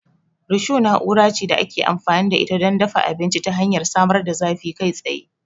Risho na'ura ce da ake amfani da ita don dafa abinci ta hanyar samar da zafi kai tsaye.